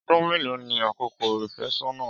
Ọdún mélòó ni àkókò ìfẹ́sọ́nà?